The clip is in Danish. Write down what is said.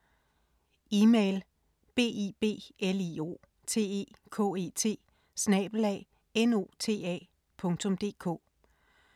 Email: biblioteket@nota.dk